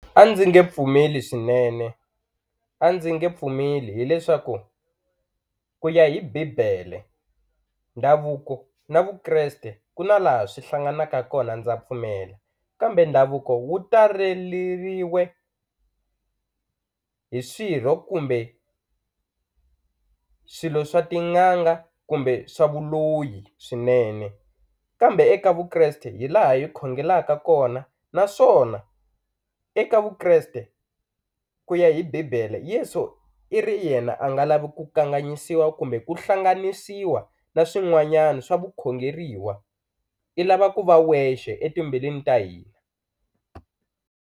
A ndzi nge pfumeli swinene a ndzi nge pfumeli hileswaku ku ya hi bibele ndhavuko na Vukreste ku na laha swi hlanganaka kona ndza pfumela kambe ndhavuko wu tareliriwe hi swirho kumbe swilo swa tin'anga kumbe swa vuloyi swinene kambe eka Vukreste hi laha hi khongelaka kona naswona eka Vukreste ku ya hi bibele Yeso i ri yena a nga lavi ku kanganyisiwa kumbe ku hlanganisiwa na swin'wanyana swa vukhongeriwa i lava ku va wexe etimbilwini ta hina.